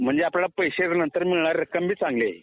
म्हणजे आपल्याला पैसे नंतर मिळणारी रक्कम पण चांगलीच आहे